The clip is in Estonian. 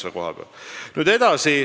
Ei, ma ei olnud.